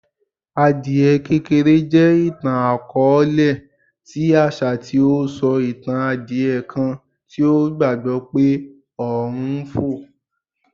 Adie kekere jẹ itan-akọọlẹ ti aṣa ti o sọ itan adie kan ti o gbagbọ pe ọrun n fo